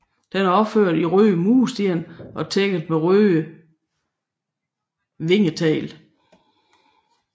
Den er opført i røde mursten og tækket med røde vingetegl